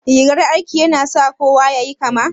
Rigar aiki ya na sa kowa yayi kama?